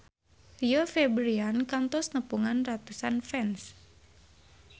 Rio Febrian kantos nepungan ratusan fans